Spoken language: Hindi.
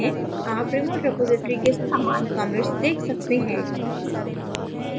आप remote repository के समान commits देख सकते हैं